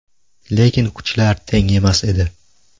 Lekin kuchlar teng emas edi.